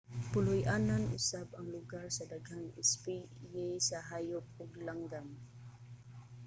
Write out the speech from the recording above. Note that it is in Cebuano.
puloy-anan usab ang lugar sa daghang espisye sa hayop ug langgam